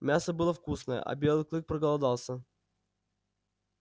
мясо было вкусное а белый клык проголодался